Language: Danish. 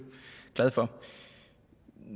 glad for